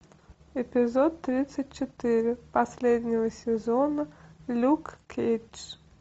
эпизод тридцать четыре последнего сезона люк кейдж